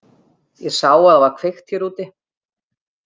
Ég sá að það var kveikt hér úti.